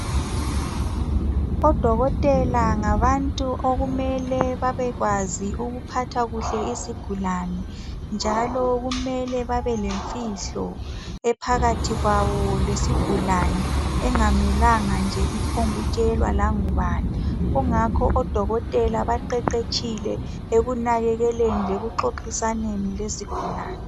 Odokotela ngabantu okumele babekwazi ukuphatha kuhle izigulane, njalo kumele babe lemfihlo ephakathi kwabo lesigulane engamelanga nje iphongkutshelwa langubani. Kungakho ke odokotela baqeqetshile ekunakekeleni lekuxoxisaneni lezigulane.